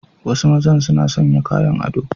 Wasu maza suna sanya kayan ado.